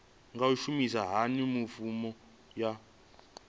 nga shumisa hani mafhumgo aya